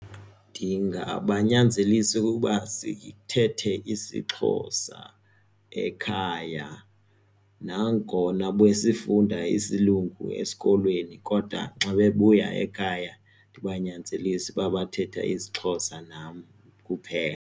Ndingabanyanzelisa okokuba sithethe isiXhosa ekhaya nangona besifunda isiLungu esikolweni kodwa nxa bebuya ekhaya ndibanyanzelise uba bathethe isiXhosa nam kuphela.